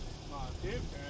Nə deyirsən?